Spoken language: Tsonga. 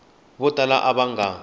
vo tala lava va nga